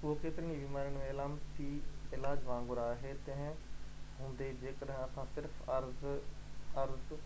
اهو ڪيترين ئي بيمارين ۾ علامتي علاج وانگر آهي تنهن هوندي جيڪڏهن اسان صرف عارض